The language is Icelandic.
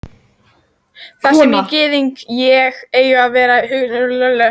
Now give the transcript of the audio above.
Þar sem gyðingar eiga að vera, hugsaði Thomas með sér.